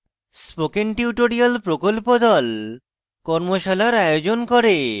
spoken tutorial প্রকল্প the কর্মশালার আয়োজন করে